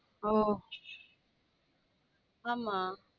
ஓ ஆமா